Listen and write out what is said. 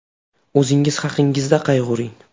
O‘zingiz haqingizda qayg‘uring.